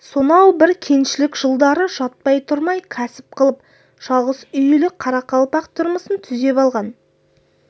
сонау бір кеңшілік жылдары жатпай-тұрмай кәсіп қылып жалғыз үйлі қарақалпақ тұрмысын түзеп алған